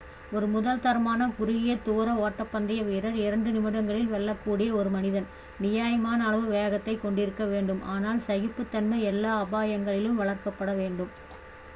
ஒரு முதல் தரமான குறுகிய தூர ஓட்டப்பந்தய வீரர் இரண்டு நிமிடங்களில் வெல்லக்கூடிய ஒரு மனிதன் நியாயமான அளவு வேகத்தை கொண்டிருக்க வேண்டும் ஆனால் சகிப்பு தன்மை எல்லா அபாயங்களிலும் வளர்க்கப்பட வேண்டும்